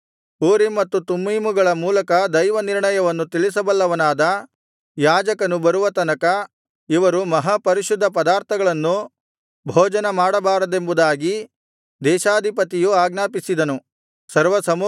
Urim ಮತ್ತು ತುಮ್ಮೀಮುಗಳ ಮೂಲಕ ದೈವನಿರ್ಣಯವನ್ನು ತಿಳಿಸಬಲ್ಲವನಾದ ಯಾಜಕನು ಬರುವ ತನಕ ಇವರು ಮಹಾಪರಿಶುದ್ಧ ಪದಾರ್ಥಗಳನ್ನು ಭೋಜನ ಮಾಡಬಾರದೆಂಬುದಾಗಿ ದೇಶಾಧಿಪತಿಯು ಆಜ್ಞಾಪಿಸಿದನು